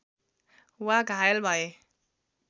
वा घायल भए